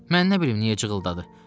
Mən nə bilim niyə cıhıldadı?